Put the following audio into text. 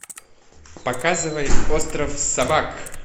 показывай остров собак